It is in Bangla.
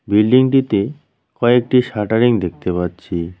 বিল্ডিংটিতে কয়েকটি শাটারিং দেখতে পাচ্ছি।